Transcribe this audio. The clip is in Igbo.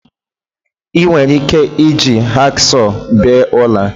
Ị nwere ike iji hacksaw bee ọla